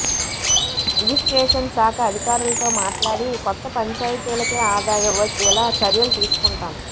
registration శాఖ అధికారులతో మాట్లాడి కొత్త పంచాయతీలకే ఆదాయం వచ్చేలా చర్యలు తీసుకుంటాం